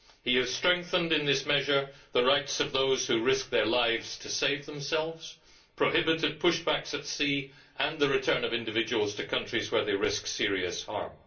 He has strengthened in this measure the rights of those who risk their lives to save themselves and has prohibited push backs at sea and the return of individuals to countries where they risk serious harm.